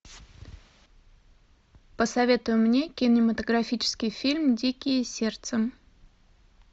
посоветуй мне кинематографический фильм дикие сердцем